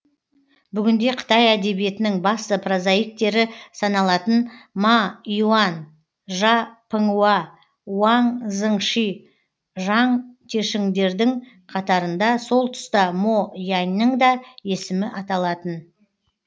бүгінде қытай әдебиетінің басты прозаиктері саналатын ма иуан жа піңуа уаң зыңщи жаң тешіңдердің қатарында сол тұста мо яньның да есімі аталатын